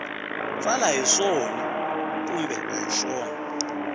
tsala hi swona kumbe a